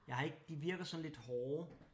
Jeg har ikke de virker sådan lidt hårde